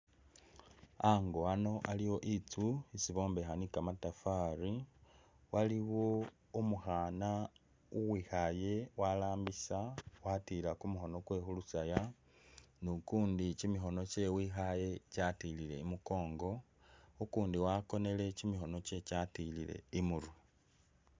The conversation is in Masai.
Ango ano aliwo itsu isi bombeha ni kamatafari, waliwo umukhana uwikhale walambisa watila kumukhono kwewe khulusaya ni ukundi kyimikhono kyewe wekhale kyatilile imukongo ,ukundi wakonele kyimikhono kyewe kyatilile imurwe